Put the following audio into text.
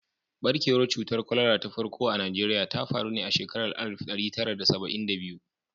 Ɓarkewar cutar kwalara ta farko a Najeriya ta faru ne a shekarar alif ɗari tara da saba'in da biyu.